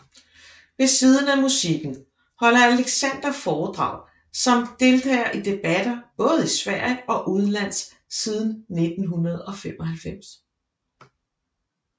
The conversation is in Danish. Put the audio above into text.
Ved siden af musikken holder Alexander foredrag samt deltager i debatter både i Sverige og udenlands siden 1995